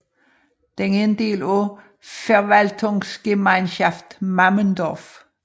Den er en del af Verwaltungsgemeinschaft Mammendorf